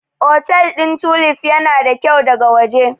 Otel ɗin Tulif yana da kyau daga waje.